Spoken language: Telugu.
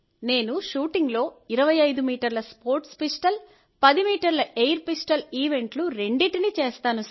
నేను షూటింగ్లో 25 మీటర్ల స్పోర్ట్స్ పిస్టల్ 10 మీటర్ల ఎయిర్ పిస్టల్ ఈవెంట్లు రెండింటినీ చేస్తాను